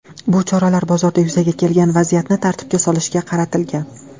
Bu choralar bozorda yuzaga kelgan vaziyatni tartibga solishga qaratilgan.